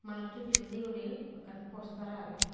manuchu pijedi guri ekkan postar agey.